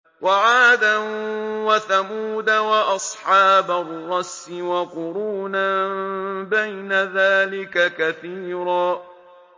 وَعَادًا وَثَمُودَ وَأَصْحَابَ الرَّسِّ وَقُرُونًا بَيْنَ ذَٰلِكَ كَثِيرًا